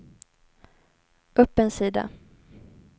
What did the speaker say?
upp en sida